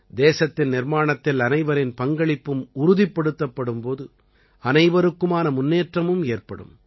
தேசத்தின் நிர்மாணத்தில் அனைவரின் பங்களிப்பும் உறுதிப்படுத்தப்படும் போது அனைவருக்குமான முன்னேற்றமும் ஏற்படும்